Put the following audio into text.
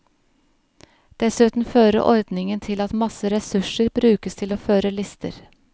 Dessuten fører ordningen til at masse ressurser brukes til å føre lister.